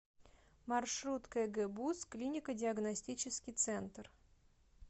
маршрут кгбуз клинико диагностический центр